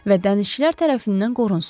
Və dənizçilər tərəfindən qorunsun.